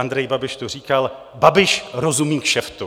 Andrej Babiš tu říkal: Babiš rozumí kšeftu.